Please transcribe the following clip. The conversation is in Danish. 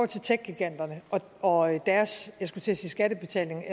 til techgiganterne og deres jeg skulle til at sige skattebetaling